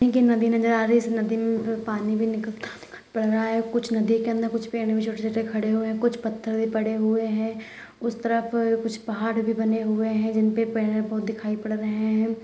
एक ये नदी नज़र आ रही है| इस नदी में पानी भी निकलता हुआ दिखाई पड़ रहा है| कुछ नदी के अंदर कुछ पेड़ भी छोटे-छोटे खड़े हुए हैं | कुछ पत्थर भी पड़े हुए हैं उस तरफ कुछ पहाड़ भी बने हुए हैं जिनपे पेड़-पौधे दिखाई पड़ रहे हैं|